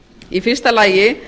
í fyrsta lagi